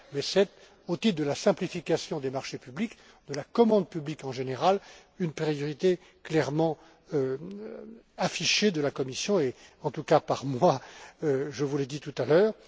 pas. Mais c'est au titre de la simplification des marchés publics, de la commande publique en général, une priorité clairement affichée de la Commission, et en tout cas par moi, je vous l'ai dit tout à l'heure.